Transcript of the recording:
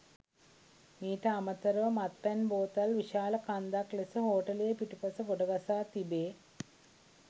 මීට අමතර ව මත්පැන් බෝතල් විශාල කන්දක් ලෙස හෝටලය පිටුපස ගොඩගසා තිබේ.